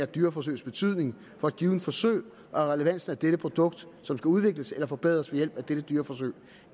dyreforsøgs betydning for et givet forsøg og relevansen af det produkt som skal udvikles og forbedres ved hjælp af dette dyreforsøg